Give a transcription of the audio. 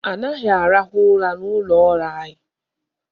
Anaghị arahụ ụra n'ụlọ ọrụ anyị.